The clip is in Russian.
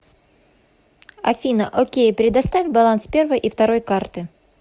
афина окей предоставь баланс первой и второй карты